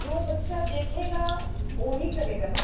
ਜੋ ਬੱਚਾ ਦੇਖੇਗਾ